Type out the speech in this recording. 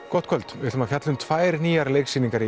gott kvöld við ætlum að fjalla um tvær nýjar leiksýningar